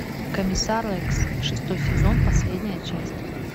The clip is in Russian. комиссар рекс шестой сезон последняя часть